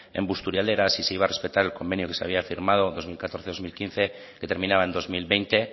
en busturialdea si se iba a respetar el convenio que se había firmado en dos mil catorce dos mil quince que terminaba en dos mil veinte